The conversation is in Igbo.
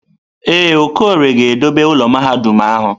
Ee, Okorie ga-edobe ụlọ mahadum ahụ.